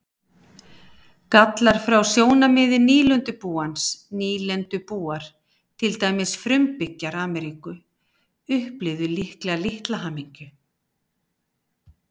Gallar frá sjónarmiði nýlendubúans Nýlendubúar, til dæmis frumbyggjar Ameríku, upplifðu líklega litla hamingju.